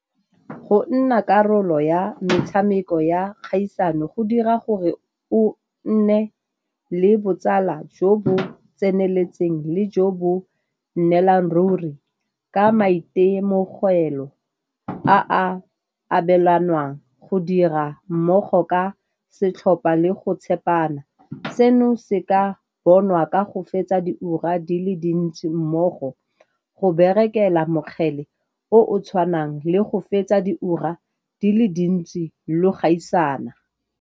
Go nna karolo ya metshameko ya kgaisano go dira gore o nne le botsala jo bo tseneletseng le jo bo nnelang ruri ka maitemogelo a a abelanwang go dira mmogo ka setlhopa le go tshepana. Seno se ka bonwa ka go fetsa diura di le dintsi mmogo, go berekela mokgele o o tshwanang le go fetsa diura di le dintsi lo gaisana.